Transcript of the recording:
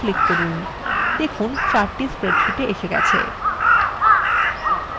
দেখুন chart স্প্রেডশীটে এসে হয়েছে